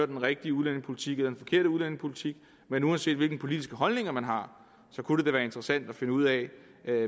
den rigtige udlændingepolitik eller den forkerte udlændingepolitik men uanset hvilke politiske holdninger man har kunne det da være interessant at finde ud af